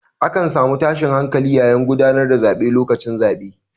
A kan samu tashin hankali yayin gudanar da zaɓe lokacin zaɓe.